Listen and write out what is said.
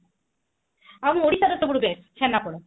ଆଉ ଓଡିଶା ର ସବୁଠୁ best ଛେନାପୋଡ